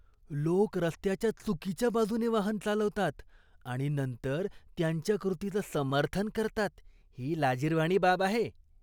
लोक रस्त्याच्या चुकीच्या बाजूने वाहन चालवतात आणि नंतर त्यांच्या कृतीचं समर्थन करतात ही लाजिरवाणी बाब आहे.